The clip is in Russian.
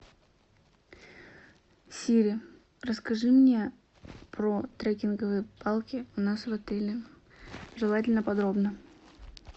сири расскажи мне про трекинговые палки у нас в отеле желательно подробно